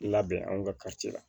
Labɛn an ka la